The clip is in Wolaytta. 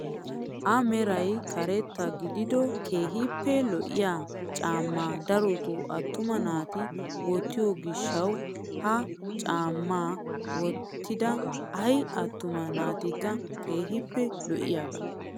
A meray karetta gidido keehippe lo'iyaa caammaa darotoo attuma naati wottiyoo gishshawu ha caammaa wottida ayi attuma natikka keehippe lo'iyaaga.